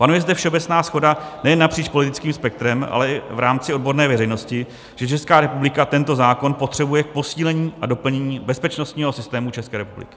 Panuje zde všeobecná shoda nejen napříč politickým spektrem, ale i v rámci odborné veřejnosti, že Česká republika tento zákon potřebuje k posílení a doplnění bezpečnostního systému České republiky.